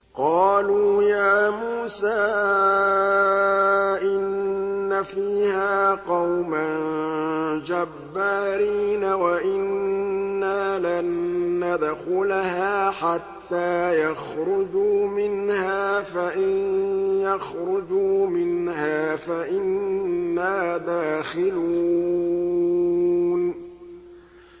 قَالُوا يَا مُوسَىٰ إِنَّ فِيهَا قَوْمًا جَبَّارِينَ وَإِنَّا لَن نَّدْخُلَهَا حَتَّىٰ يَخْرُجُوا مِنْهَا فَإِن يَخْرُجُوا مِنْهَا فَإِنَّا دَاخِلُونَ